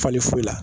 Fali foyi la